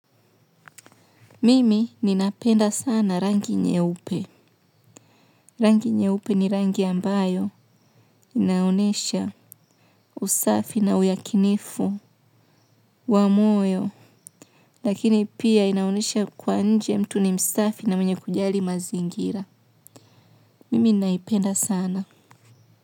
Mimi ninapenda sana rangi nyeupe. Rangi nyeupe ni rangi ambayo inaonyesha usafi na uyakinifu wa moyo. Lakini pia inaonyesha kuwa nje mtu ni msafi na mwenye kujali mazingira. Mimi naipenda sana.